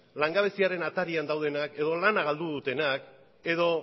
langabeziaren atarian daudenak edo lana galdu dutenak edo